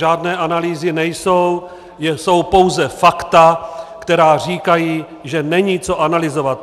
Žádné analýzy nejsou, jsou pouze fakta, která říkají, že není co analyzovat.